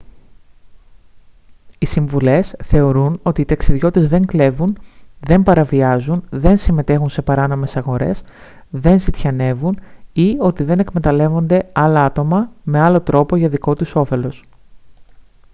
οι συμβουλές θεωρούν ότι οι ταξιδιώτες δεν κλέβουν δεν παραβιάζουν δεν συμμετέχουν σε παράνομες αγορές δεν ζητιανεύουν ή ότι δεν εκμεταλλεύονται άλλα άτομα με άλλο τρόπο για δικό τους όφελος